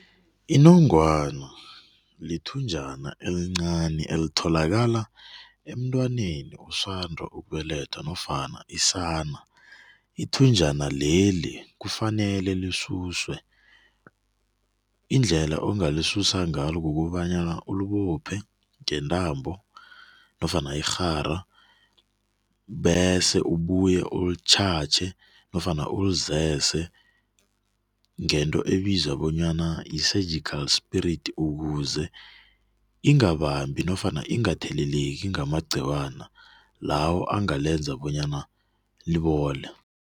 Inongwana lithunjana elincani elitholakala emntwaneni osanda ukubelethwa nofana isana. Ithunjana leli, kufanele lisuswe. Indlela ongalisusa ngalo, kukobanyana ulibophe ngentambo nofana irhara bese ubuye ulitjhatjhe nofana ulizese ngento ebizwa bona yi-surgical spirit ukuze ingabambi nofana ingatheleleki ngamagqiwana lawo angalenza bona libole.